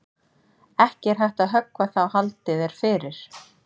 Ekki er hægt að höggva þá haldið er fyrir.